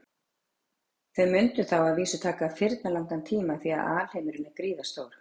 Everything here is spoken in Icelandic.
Þau mundu þá að vísu taka firnalangan tíma því að alheimurinn er gríðarstór.